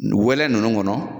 Wɛlɛn nunnu kɔnɔ